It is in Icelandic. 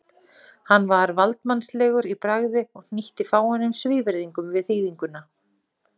Hann var valdsmannslegur í bragði og hnýtti fáeinum svívirðingum við þýðinguna.